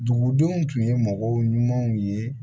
Dugudenw tun ye mɔgɔw ɲumanw ye